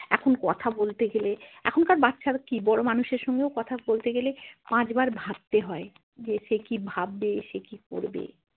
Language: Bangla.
এখন কথা বলতে গেলে এখনকার বাচ্ছা কি বড়ো মানুষের সঙ্গেও কথা বলতে গেলে পাঁচবার ভাবতে হয় যে সে কি ভাববে সে কি করবে।